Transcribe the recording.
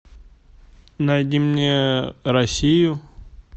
найди мне россию